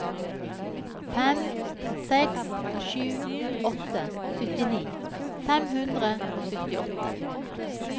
fem seks sju åtte syttini fem hundre og syttiåtte